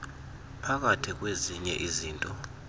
phakathi kwezinye izinto